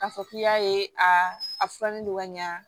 K'a fɔ k'i y'a ye aa a furanin don ka ɲa